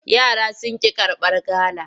Yara sun ƙi karbar gala.